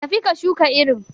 Tafi ka shuka irin.